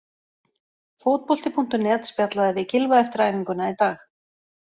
Fótbolti.net spjallaði við Gylfa eftir æfinguna í dag.